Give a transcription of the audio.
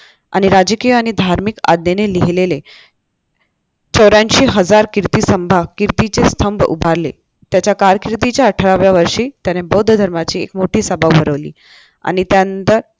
आणि राजकीय आणि धार्मिक आज्ञेने लिहिलेले चौऱ्यांशी हजार कीर्ती स्तंभ कीर्तीचे स्तंभ उभारले त्याच्या कारकिर्दीच्या अठराव्या वर्षी त्याने बौद्ध धर्माची मोठी सभा भरवली आणि त्यानंतर